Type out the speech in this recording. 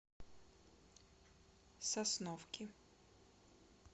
сосновки